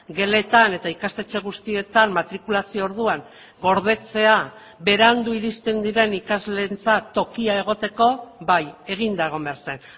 geletan eta ikastetxe guztietan matrikulazio orduan gordetzea berandu iristen diren ikasleentzat tokia egoteko bai eginda egon behar zen